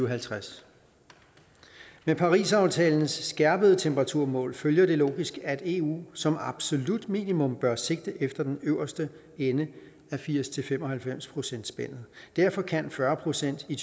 og halvtreds med parisaftalens skærpede temperaturmål følger det logisk at eu som absolut minimum bør sigte efter den øverste ende af firs til fem og halvfems procentsspændet derfor kan fyrre procent i